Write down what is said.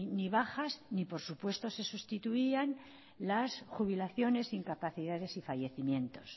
ni bajas ni por supuesto se sustituían las jubilaciones incapacidades y fallecimientos